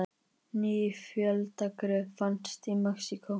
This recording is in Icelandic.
Ný fjöldagröf finnst í Mexíkó